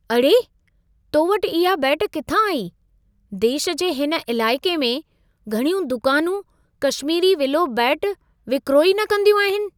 अड़े! तो वटि इहा बेट किथां आई। देश जे हिन इलाइक़े में, घणियूं दुकानूं कशमीरी विलो बेटु विक्रो ई न कंदियूं आहिनि।